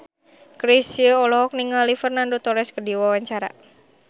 Chrisye olohok ningali Fernando Torres keur diwawancara